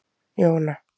Jóna